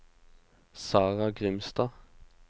Sarah Grimstad